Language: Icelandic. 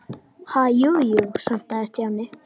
Ha- jú, jú stamaði Stjáni.